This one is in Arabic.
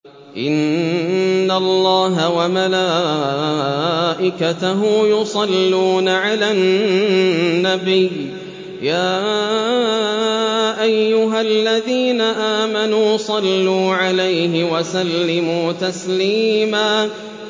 إِنَّ اللَّهَ وَمَلَائِكَتَهُ يُصَلُّونَ عَلَى النَّبِيِّ ۚ يَا أَيُّهَا الَّذِينَ آمَنُوا صَلُّوا عَلَيْهِ وَسَلِّمُوا تَسْلِيمًا